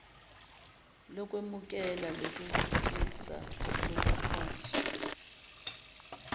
lokwemukela lokuphikisa lokuphonsa